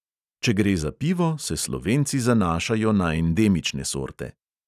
Če gre za pivo, se slovenci zanašajo na endemične sorte.